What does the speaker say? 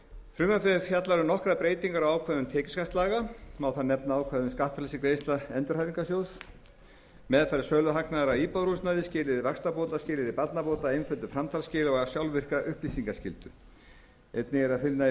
frumvarpið fjallar um nokkrar breytingar á ákvæðum tekjuskattslaga má þar nefna ákvæði skattfrelsi greiðslna endurhæfingarsjóðs meðferð söluhagnaðar af íbúðarhúsnæði skilyrði vaxtabóta skilyrði barnabóta einföldun framtalsskila og sjálfvirka upplýsingaskyldu einnig er að finna í